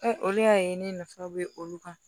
olu y'a ye ne nafa bɛ olu kan